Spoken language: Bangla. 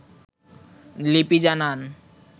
লিপি জানান